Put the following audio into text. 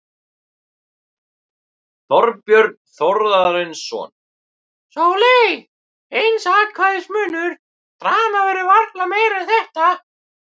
Þorbjörn Þórðarson: Sóley, eins atkvæðis munur, dramað verður varla meira en þetta?